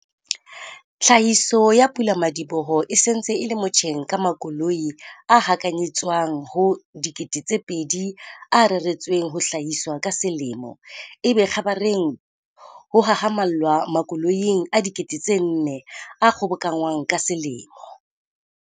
Tlhahiso ya pula-madiboho e se ntse e le motjheng ka makoloi a hakanyetswang ho 2 000 a reretsweng ho hlahiswa ka selemo, ebe kgabareng ho hahamallwa makoloing a 4 000 a kgobokanngwang ka selemo.